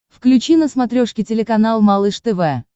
включи на смотрешке телеканал малыш тв